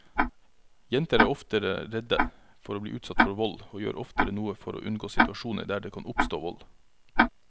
Jenter er oftere redde for å bli utsatt for vold og gjør oftere noe for å unngå situasjoner der det kan oppstå vold.